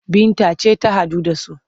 Binta ce ta haɗa su,